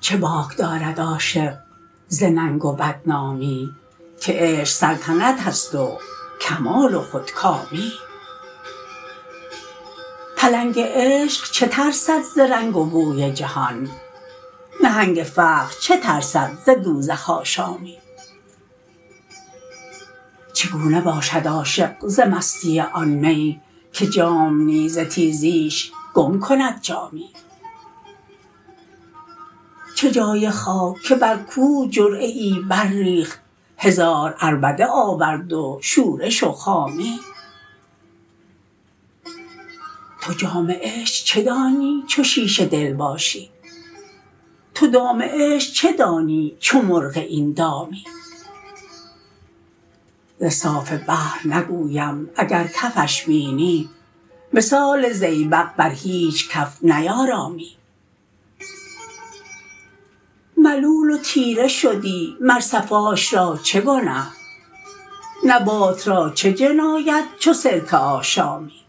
چه باک دارد عاشق ز ننگ و بدنامی که عشق سلطنت است و کمال و خودکامی پلنگ عشق چه ترسد ز رنگ و بوی جهان نهنگ فقر چه ترسد ز دوزخ آشامی چگونه باشد عاشق ز مستی آن می که جام نیز ز تیزیش گم کند جامی چه جای خاک که بر کوه جرعه ای برریخت هزار عربده آورد و شورش و خامی تو جام عشق چه دانی چو شیشه دل باشی تو دام عشق چه دانی چو مرغ این دامی ز صاف بحر نگویم اگر کفش بینی مثال زیبق بر هیچ کف نیارامی ملول و تیره شدی مر صفاش را چه گنه نبات را چه جنایت چو سرکه آشامی